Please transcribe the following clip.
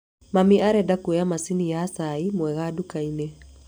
Mami arenda kũoya macani ma cai mwega nduka-inĩ